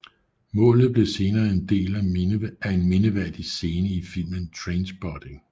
Målet blev senere en del af en mindeværdig scene i filmen Trainspotting